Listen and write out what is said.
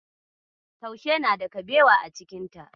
Taushe na da kabewa a cikin ta.